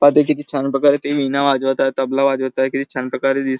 पहा ते किती छान प्रकारे ते विणा वाजवत आहे तबला वाजवताय किती छान प्रकारे दिस--